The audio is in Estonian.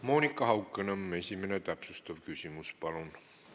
Monika Haukanõmm, esimene täpsustav küsimus, palun!